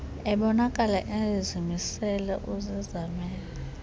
ebonakala emsizela uzizamele